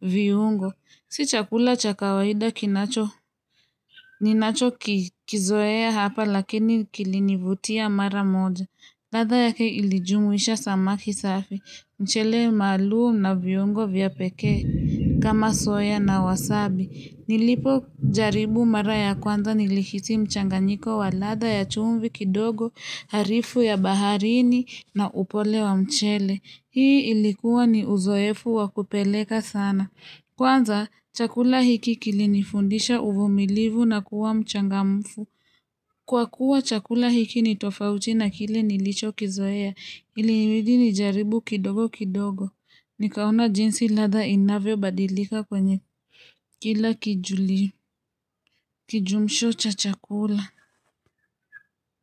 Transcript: viungo. Si chakula cha kawaida kinacho, ninacho kizoea hapa lakini kilinivutia mara moja. Lada yake ilijumuisha samaki safi, mchele malu na vyungo vya peke kama soya na wasabi. Nilipo jaribu mara ya kwanza nilikiti mchanganyiko wa lada ya chumbi kidogo, harifu ya baharini na upole wa mchele. Hii ilikuwa ni uzoefu wakupeleka sana. Kwanza, chakula hiki kilinifundisha uvumilivu na kuwa mchangamfu. Kwa kuwa chakula hiki nitofauti na kile nilicho kizoea, ilimidi nijaribu kidogo kidogo. Nikaona jinsi ladha inaveo badilika kwenye kila kijumsho cha chakula.